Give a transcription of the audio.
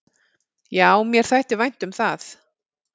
"""Já, mér þætti vænt um það."""